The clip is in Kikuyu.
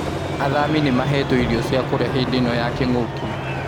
Athami nĩ mahetwo irio cīa kũrĩa hĩndĩ ino ya kĩng'ũki